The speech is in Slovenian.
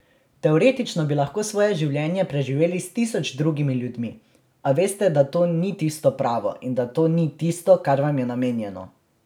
Teoretično bi lahko svoje življenje preživeli s tisoč drugimi ljudmi, a veste, da to ni tisto pravo in da to ni tisto, kar vam je namenjeno.